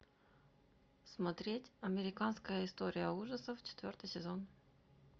смотреть американская история ужасов четвертый сезон